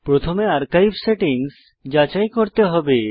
প্রথমে archive settings যাচাই করতে হবে